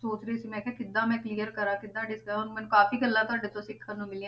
ਸੋਚ ਰਹੀ ਸੀ, ਮੈਂ ਕਿਹਾ ਕਿੱਦਾਂ ਮੈਂ clear ਕਰਾਂ, ਕਿੱਦਾਂ ਜਿੱਦਾਂ ਮੈਨੂੰ ਕਾਫ਼ੀ ਗੱਲਾਂ ਤੁਹਾਡੇ ਤੋਂ ਸਿੱਖਣ ਨੂੰ ਮਿਲੀਆਂ